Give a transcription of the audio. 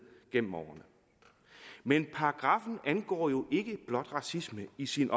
gennem årene men paragraffen angår jo ikke blot racisme i sin